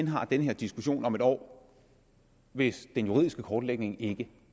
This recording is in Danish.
har den her diskussion igen om et år hvis den juridiske kortlægning ikke